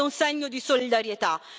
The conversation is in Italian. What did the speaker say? Questo è un segno di solidarietà.